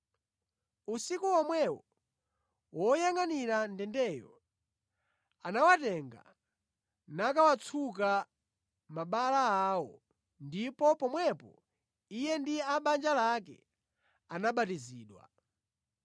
Usiku womwewo woyangʼanira ndendeyo anawatenga nakawatsuka mabala awo; ndipo pomwepo iye ndi a mʼbanja lake anabatizidwa.